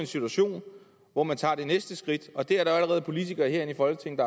situation hvor man tager det næste skridt og der er allerede politikere herinde i folketinget